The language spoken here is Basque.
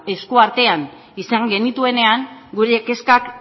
esku artean izan genituenean gure kezkak